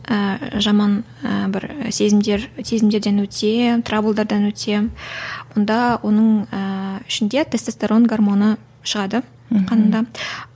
ііі жаман ы бір сезімдер сезімдерден өтсе травлдардан өтсе онда оның ііі ішінде тестесторон гармоны шығады қанында